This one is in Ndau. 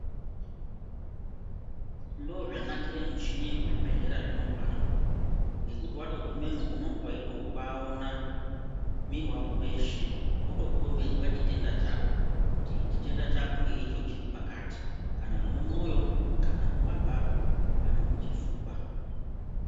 Ndozvanakire michini yekuzvibhedhlera zvino pano ngekuti watogumemo unenge weitobaona mwiri wako weshe wotokhombidzwa chitenda chako, kuti chitenda chako ngeicho chiripakati. Kana mumwoyo kana mumaphapu kana muchifuba.